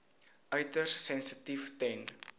uiters sensitief ten